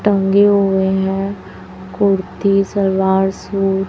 टंगे हुए हैं कुर्ती सलवार सूट --